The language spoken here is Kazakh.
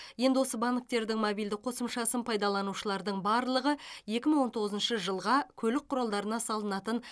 енді осы банктердің мобильді қосымшасын пайдаланушылардың барлығы екі мың он тоғызыншы жылға көлік құралдарына салынатын